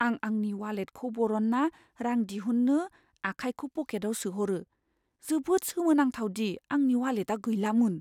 आं आंनि वालेटखौ बरनना रां दिहुननो आखाइखौ पकेटाव सोहरो। जोबोद सोमो नांथाव दि आंनि वालेटआ गैलामोन!